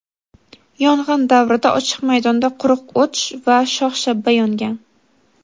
Yong‘in davrida ochiq maydonda quruq o‘t va shox-shabba yongan.